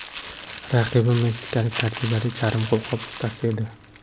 Raqibim meksikalik tajribali charm qo‘lqop ustasi edi.